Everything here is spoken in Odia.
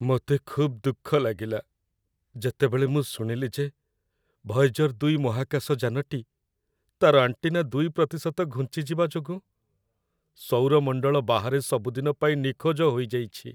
ମୋତେ ଖୁବ୍ ଦୁଃଖ ଲାଗିଲା, ଯେତେବେଳେ ମୁଁ ଶୁଣିଲି ଯେ ଭଏଜର-୨ ମହାକାଶ ଯାନଟି, ତା'ର ଆଣ୍ଟିନା ୨% ଘୁଞ୍ଚିଯିବା ଯୋଗୁଁ, ସୌରମଣ୍ଡଳ ବାହାରେ ସବୁଦିନ ପାଇଁ ନିଖୋଜ ହୋଇଯାଇଛି।